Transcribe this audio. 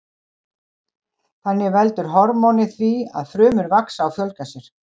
Þannig veldur hormónið því að frumur vaxa og fjölga sér.